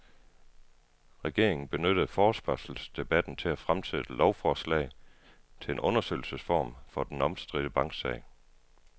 Regeringen benyttede forespørgselsdebatten til at fremsætte lovforslag til en undersøgelsesform for den omstridte banksag.